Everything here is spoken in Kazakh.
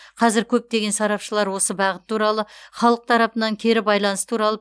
қазір көптеген сарапшылар осы бағыт туралы халық тарапынан кері байланыс туралы